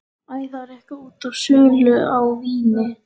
Æ, það var eitthvað út af sölu á víni.